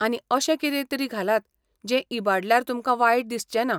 आनी, अशें कितेंतरी घालात जें इबाडल्यार तुमकां वायट दिसचेंना.